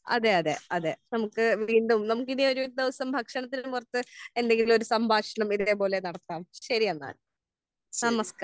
അതെ അതെ അതെ നമുക്ക് വീണ്ടും നമുക്ക് ഇനി ഒരു ദിവസം ഭക്ഷണത്തെ കുറിച്ച് എന്തെങ്കിലും ഒരു സംഭാഷണം ഇതേ പോലെ നടത്താം. ശരി എന്നാൽ നമസ്ക്കാരം.